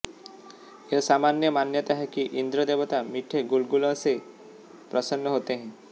यह सामान्य मान्यता है कि इंद्र देवता मीठे गुलगुलों से प्रसन्न होते हैं